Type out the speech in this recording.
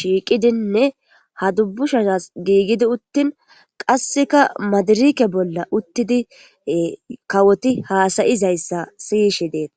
shiiqidinne ha dubbushas giigidi uttin qasseka madirike bolla uttidi kawoti haasayizayssa siyishi deeta